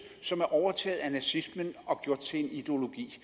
som er blevet overtaget af nazismen og gjort til en ideologi